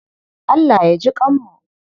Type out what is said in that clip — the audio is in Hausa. Allah ya jiƙanmu.